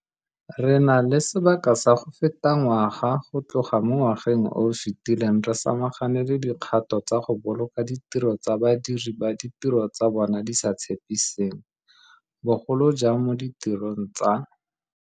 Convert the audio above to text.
Re na le sebaka sa go feta ngwaga go tloga mo ngwageng o o fetileng re samagane le dikgato tsa go boloka ditiro tsa badiri ba ditiro tsa bona di sa tshepiseng, bogolo jang mo ditirong tsa